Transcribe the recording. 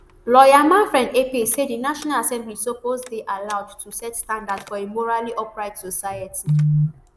lawyer manfred ekpe say di national assembly suppose dey allowed to set standards for a morally upright society